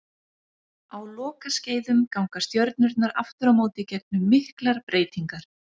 Á lokaskeiðum ganga stjörnurnar aftur á móti gegnum miklar breytingar.